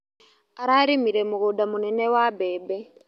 Ararĩmire mũgũnda mũnene wa mbembe.